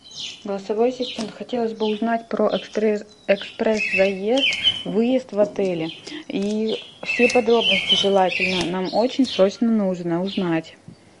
голосовой ассистент хотелось бы узнать про экспресс заезд выезд в отеле и все подробности желательно нам очень срочно нужно узнать